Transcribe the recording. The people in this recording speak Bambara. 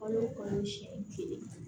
Kalo o kalo siɲɛ kelen